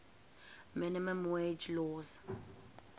minimum wage laws